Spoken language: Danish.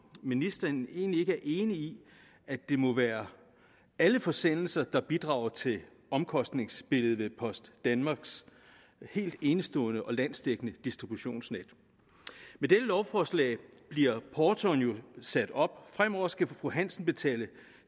ministeren egentlig ikke er enig i at det må være alle forsendelser der bidrager til omkostningsbilledet af post danmarks helt enestående og landsdækkende distributionsnet med dette lovforslag bliver portoen jo sat op fremover skal fru hansen betale